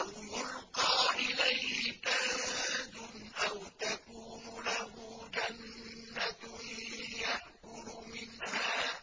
أَوْ يُلْقَىٰ إِلَيْهِ كَنزٌ أَوْ تَكُونُ لَهُ جَنَّةٌ يَأْكُلُ مِنْهَا ۚ